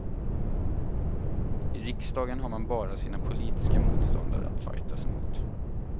I riksdagen har man bara sina politiska motståndare att fajtas emot.